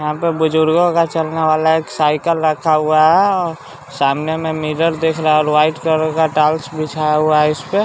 यहाँ पर बुजुर्गों का चलने वाला एक साइकिल रखा हुआ है और सामने में मिरर दिख रहा है और वाइट कलर का टॉल्स बिछाया हुआ है इसपे --